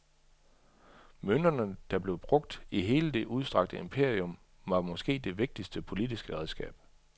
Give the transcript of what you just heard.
Mønterne, der blev brugt i hele det udstrakte imperium, var måske det vigtigste politiske redskab.